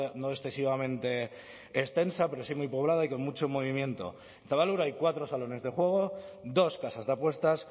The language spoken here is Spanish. no excesivamente extensa pero sí muy poblada y con mucho movimiento en zabalburu hay cuatro salones de juego dos casas de apuestas